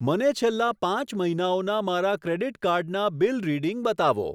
મને છેલ્લા પાંચ મહિનાઓના મારા ક્રેડીટ કાર્ડ ના બિલ રીડિંગ બતાવો.